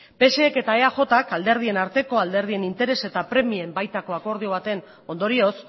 psek eta eajk alderdien arteko alderdien interes eta premien baitako akordio baten ondorioz